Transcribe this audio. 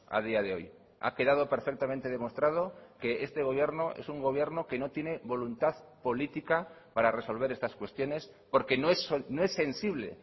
a día de hoy ha quedado perfectamente demostrado que este gobierno es un gobierno que no tiene voluntad política para resolver estas cuestiones porque no es sensible